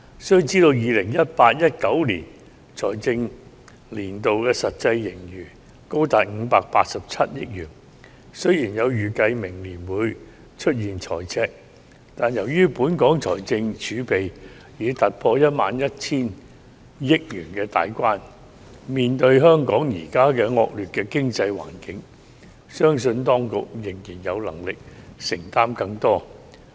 須知道 ，2018-2019 財政年度的實際盈餘高達587億元，雖然有預計指明年會出現赤字，但由於本港財政儲備已突破 11,000 億元大關，面對香港現時惡劣的經濟環境，相信當局仍然有能力承擔更多。